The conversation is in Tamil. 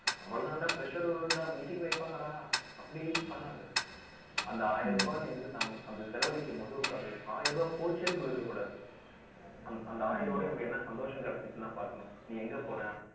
அவ்வளவுதாண்டா, pressure வரும்டா meeting வைப்பாங்கடா. அப்படி பண்ணாத அந்த ஆயிரம் ரூபாய் நீ அந்த செலவழிக்கும்போது உனக்கு அது ஆயிரம் ரூபாய் போச்சேன்னு சொல்லி இருக்கக் கூடாது. அந்த அந்த ஆயிரம் ரூபாய்ல இவனுக்கு என்ன சந்தோஷம் கிடைச்சுச்சுன்னுதான் பார்க்கணும். நீ எங்க போன